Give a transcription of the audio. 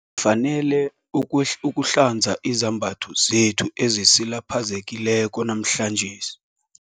fanele ukuhlanza izembatho zethu ezisilapheleko namhlanje.